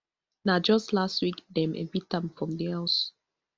na just last week dem evict am from di house